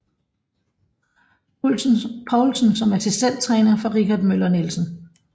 Poulsen som assistenttræner for Richard Møller Nielsen